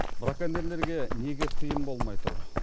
браконьерлерге неге тыйым болмай тұр